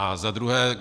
A za druhé.